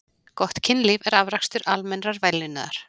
Gott kynlíf er afrakstur almennrar vellíðunar.